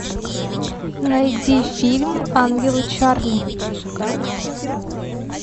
найди фильм ангелы чарли